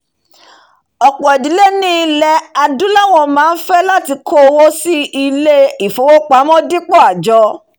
ọ̀pọ̀ ìdílé ní ilẹ̀ adúláwọ̀ máá fẹ́ láti kówó pamọ́ sí ilé ìfowópamọ́ dípò àjọ